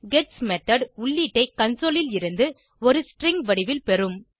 gets method உள்ளீட்டை console ல் இருந்து ஒரு ஸ்ட்ரிங் வடிவில் பெறும்